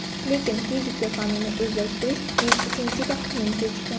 Lekin fizika fanini o‘zlashtirish men uchun juda qiyin kechgan.